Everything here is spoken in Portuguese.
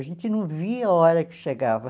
A gente não via a hora que chegava.